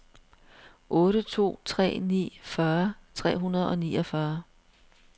otte to tre ni fyrre tre hundrede og niogfyrre